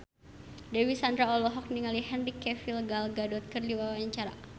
Dewi Sandra olohok ningali Henry Cavill Gal Gadot keur diwawancara